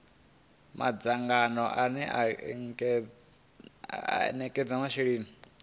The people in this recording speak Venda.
madzangano ane a ekedza masheleni